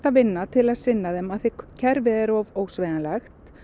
vinna til að sinna þeim af því að kerfið er of ósveigjanlegt